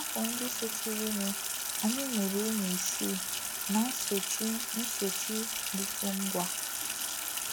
N’afọ ndị sochirinụ, anyị mụrụ ụmụ isii ná nsochi nsochi dịtụ ngwa.